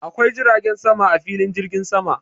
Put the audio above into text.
Akwai jiragen sama a filin jirgin sama.